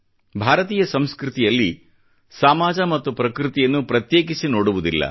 ಭಾರತೀಯ ಸಂಸ್ಕೃತಿಯಲ್ಲಿ ಸಮಾಜ ಮತ್ತು ಪ್ರಕೃತಿಯನ್ನು ಪ್ರತ್ಯೇಕಿಸಿ ನೋಡುವುದಿಲ್ಲ